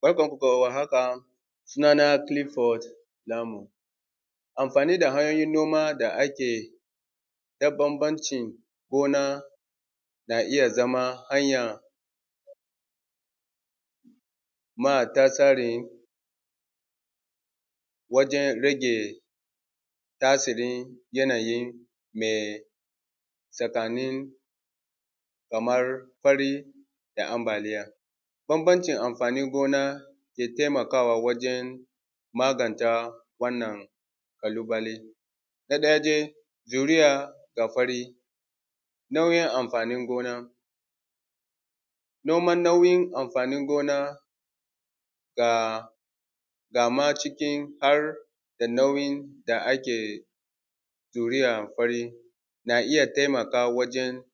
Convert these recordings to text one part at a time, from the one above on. Barkanmu da warhaka suna nan Kilifod Namu anfani da hanyoyin noma da ake na bambanci gona na iya zama hanya nama tasare wajen rage tasirin yanayin me tsakanin kamar fari da ambliya. Bambancin amfanin gona ke taimakawa wajen magance wannan Kalubale na ɗaya dai juriya da fari na’uo’in anfanin gona noman nauyin amfanin gona gama cikin jar da nau’in da ake juriya fari na iya taimakawa wajen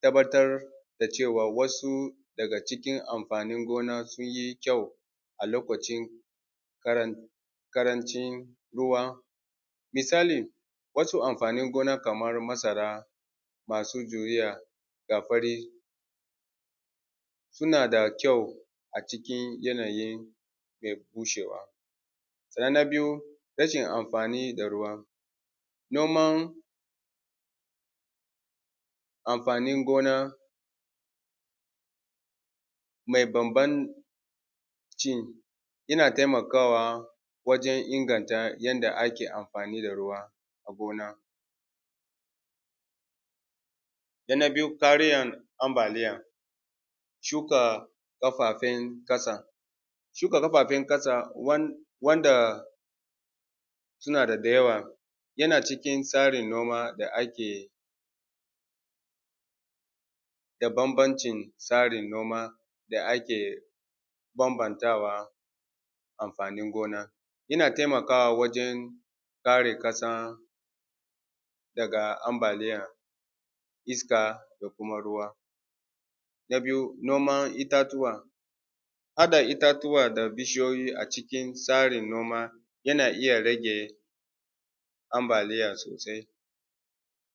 tabbaar da cewa wasu daga cikin anfanin gona sun yi kyau a lokacin ƙarancin ruwa misali wasu anfanin gona kamar masu juriya ga fari suna da kyau a cikin yanayin be bushe ba. Se na biyu rashin anfani da ruwa, noman anfanin gona mai bambanci yana taimakawa wajen inganta anfani da ruwa gona se na biyu tariyan ambaliya, shuka mafafin ƙasa shuka mafafin ƙasa wanda suna da dayawa yana cikin tsarin noma da ake da bambancin tsarin noma da sake bambantawa. Amfnin gona yana taimakawa wajen kare ƙasan daga ambaliyan iska da kuma ruwa, na biyu noma itatuwa ana itatuwa da bishiyoyi a cikin tsarin noma yana iya rage ambaliya sosai.